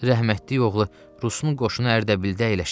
Rəhmətli oğlu Rusun qoşunu Ərdəbildə əyləşib.